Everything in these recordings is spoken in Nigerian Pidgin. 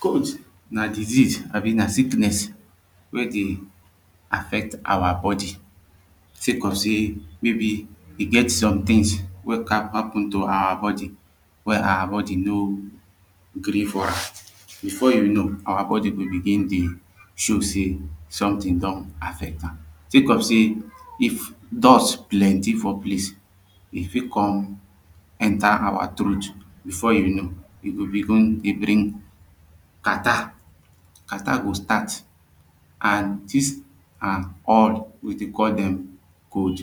cold na disease abi na sickness wey dey affect our body sake of sey maybe e get some things wey come happen to our body wey our body no gree for am before you know our body go dey show sey something don affect am. think of sey, if dust plenty for place e fit come enter our throat before you know you go begin dey bring catarrh. catarrh go start an this are all, we dey call them cold.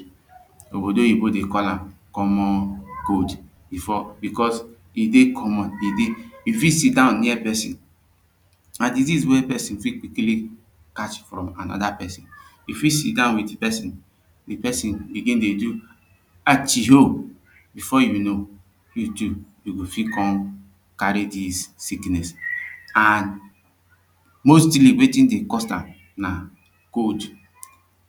obodoyibo dey call am comon cold before because e dey comon e fit sidon near person na disease wey person fit quickly catch from anoda person. e fit sidon with person an the person begin dey do atchioh before you know you too you go fit come carry this sickness an mostly wetin dey cause am na cold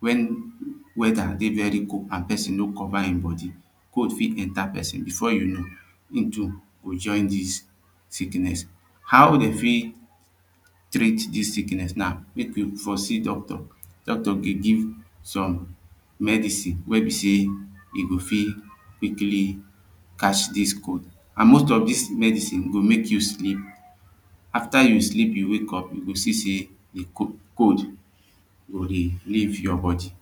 when weather dey very cold an person no cover him body. cold fit enter person before you know him too go join this sickness how dem fit treat this sickness na make we for see Doctor, Doctor ge give some medicin wey be sey e go fit quickly catch this cold and most of this medcine go make you sleep. after you sleep you wake up you go see sey the cold go dey leave your body